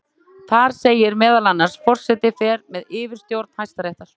Þar segir meðal annars: Forseti fer með yfirstjórn Hæstaréttar.